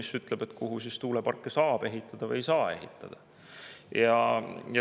See ütleb, kuhu tuuleparke saab ehitada ja kuhu ei saa.